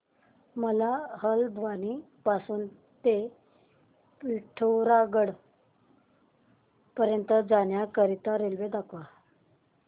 मला हलद्वानी पासून ते पिठोरागढ पर्यंत जाण्या करीता रेल्वे दाखवा